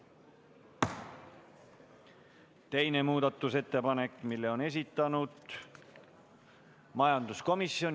Teise muudatusettepaneku on esitanud majanduskomisjon.